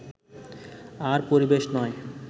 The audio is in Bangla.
আর পরিবেশ নয়